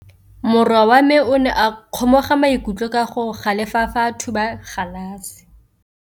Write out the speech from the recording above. Morwa wa me o ne a kgomoga maikutlo ka go galefa fa a thuba galase.